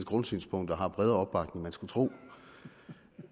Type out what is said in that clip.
grundsynspunkter har bredere opbakning end man skulle tro